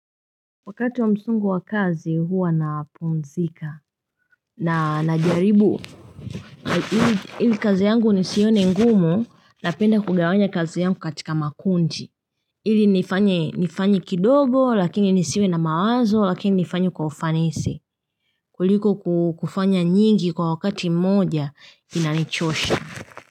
Wakati wa msongo wa kazi huwa napumzika na najaribu ili kazi yangu nisione ngumu na lpenda kugawanya kazi yangu katika makundi ili nifanye kidogo lakini nisiwe na mawazo lakini nifanye kwa ufanisi kuliko kufanya nyingi kwa wakati moja ina nichosha.